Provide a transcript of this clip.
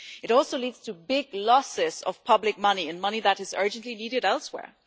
it also leads to big losses of public money money that is urgently needed elsewhere.